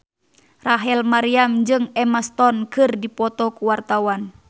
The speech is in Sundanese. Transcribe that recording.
Rachel Maryam jeung Emma Stone keur dipoto ku wartawan